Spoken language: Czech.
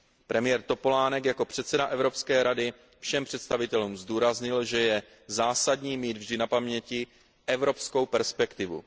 Premiér Topolánek jako předseda Evropské rady všem představitelům zdůraznil, že je zásadní mít vždy na paměti evropskou perspektivu.